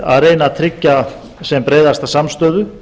að reyna að tryggja sem breiðasta samstöðu